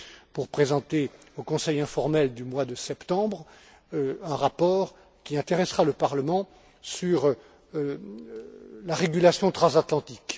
pour présenter au Conseil informel du mois de septembre un rapport qui intéressera le Parlement sur la régulation transatlantique.